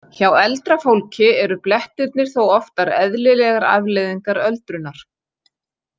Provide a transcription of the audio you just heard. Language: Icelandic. Hjá eldra fólki eru blettirnir þó oftar eðlilegrar afleiðingar öldrunar.